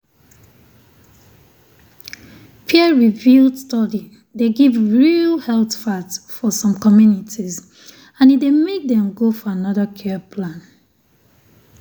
peer-reviewed study dey give real health fact for some communities and e dey make dem go for another care plan.